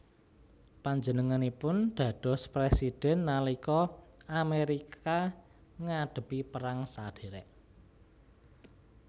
Panjenenganipun dados présidhèn nalika Amérika ngadhepi perang sadhèrèk